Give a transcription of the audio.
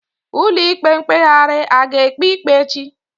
Ụlọ ikpe mkpeghari a ga ekpe ikpe echi?